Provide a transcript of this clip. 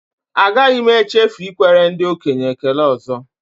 Agaghị m echefu ikwere ndị okenye ekele ọzọ